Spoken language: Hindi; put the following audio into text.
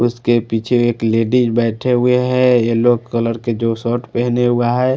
उसके पीछे एक लेडीज बैठे हुए हैं येलो कलर के जो शर्ट पहेने हुआ है।